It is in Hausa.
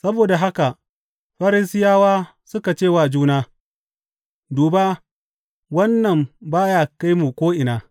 Saboda haka Farisiyawa suka ce wa juna, Duba, wannan ba ya kai mu ko’ina.